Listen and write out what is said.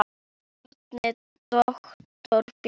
Bjarni, doktor Bjarni.